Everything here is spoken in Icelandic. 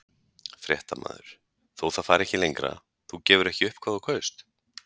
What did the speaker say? Fréttamaður: Þó það fari ekki lengra, þú gefur ekki upp hvað þú kaust?